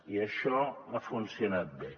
i això ha funcionat bé